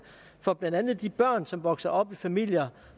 for blandt andet de børn som vokser op i familier